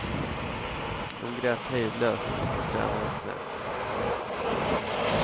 Hon grät hejdlöst i sin tränares knä.